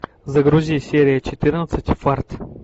загрузи серия четырнадцать фарт